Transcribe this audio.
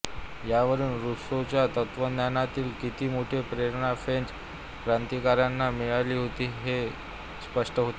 यावरून रुसोच्या तत्वज्ञानातील किती मोठी प्रेरणा फ्रेंच क्रांतिकारकांना मिळाली होती हे स्पष्ट होते